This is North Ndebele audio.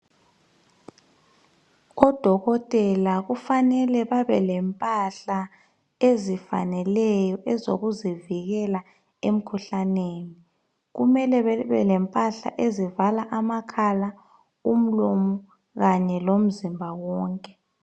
odokotela kufanele babe lempahla ezifaneleyo ezokuzivikela emkhuhlane kumele bebe lempahla ezivala amakhala umlomo knye lomzimba wonke